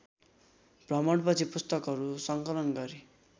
भ्रमणपछि पुस्तकहरू सङ्कलन गरी